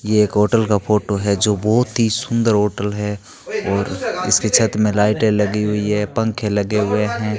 ये एक होटल का फोटो है जो बहुत ही सुंदर होटल है और इसके छत में लाइटें लगी हुई है पंखे लगे हुए हैं।